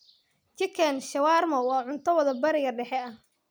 Chicken shawarma waa cunto waddo bariga dhexe ah.